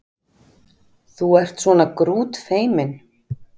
Þú ert svona grútfeiminn!